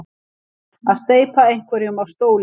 Að steypa einhverjum af stóli